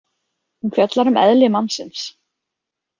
Hún fjallar um eðli mannsins.